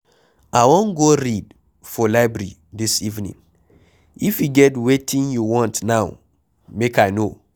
I wan go read for library dis evening, if e get wetin you want now make I no.